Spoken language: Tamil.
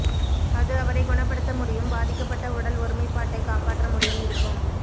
அது அவரை குணப்படுத்த முடியும் பாதிக்கப்பட்ட உடல் ஒருமைப்பாட்டை காப்பாற்ற முடியும் இருக்கும்